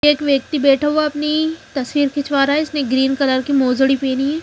एक व्यक्ति बैठा हुआ है अपनी तस्वीर खिचवा रहा है इसने ग्रीन कलर की मोजड़ी पहनी हुई है।